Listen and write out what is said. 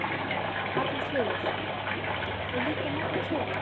Magnús Hlynur: Og líka marga kjóla?